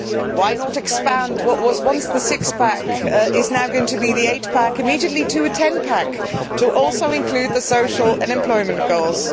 Why not expand what was once the six pack and is now going to be the eight pack immediately to a ten pack, in order also to include the social and employment goals.